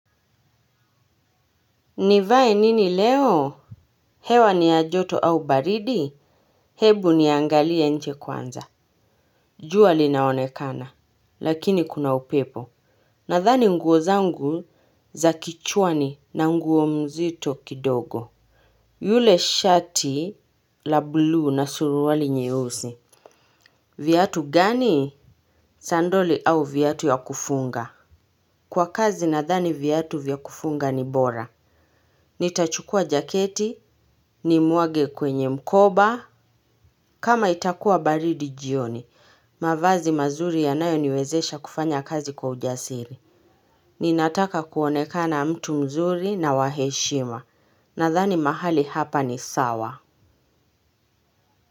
Nivae nini leo? Hewa ni ya joto au baridi? Hebu niangalia nje kwanza. Jua linaonekana. Lakini kuna upepo. Nathani nguo zangu za kichwani na nguo mzito kidogo. Ule shati la blue na suruali nyeusi. Viatu gani? Sandoli au viatu ya kufunga. Kwa kazi nathani viatu vya kufunga ni bora. Nitachukuwa jaketi, nimwage kwenye mkoba, kama itakuwa baridi jioni. Mavazi mazuri yanayoniwezesha kufanya kazi kwa ujasiri ninataka kuonekana mtu mzuri na wa heshima. Nathani mahali hapa ni sawa.